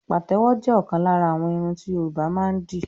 Pàtẹ́wọ̀ jẹ́ ọ̀kan lára àwọn irun ti Yorùbá máa ń dì